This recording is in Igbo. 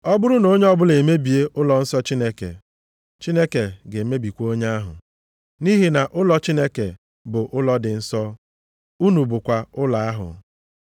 Ọ bụrụ na onye ọbụla emebie ụlọnsọ Chineke, Chineke ga-emebikwa onye ahụ. Nʼihi na ụlọ Chineke bụ ụlọ dị nsọ, unu bụkwa ụlọ ahụ.